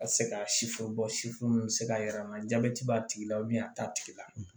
A tɛ se ka sifo sifo mun bɛ se k'a jira an na jabɛti b'a tigi la a t'a tigi la